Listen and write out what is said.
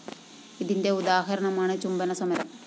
ഇതിന്റെ ഉദാഹരണമാണ് ചുംബന സമരം